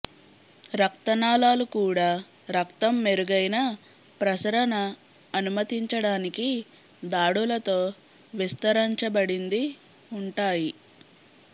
రక్త నాళాలు కూడా రక్తం మెరుగైన ప్రసరణ అనుమతించడానికి దాడులతో విస్తరించబడింది ఉంటాయి